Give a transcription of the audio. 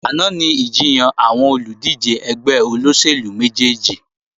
Àná ni ìjiyàn àwọn olùdíje ẹgbẹ́ olóṣèlú méjèjì